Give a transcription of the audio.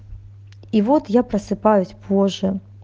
и вот я просыпаюсь позже